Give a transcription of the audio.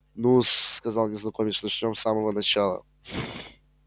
ну-с сказал незнакомец начнём с самого начала